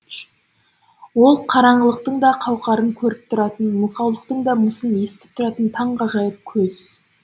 ол қараңғылықтың да қауқарын көріп тұратын мылқаулықтың да мысын естіп тұратын таң ғажайып көз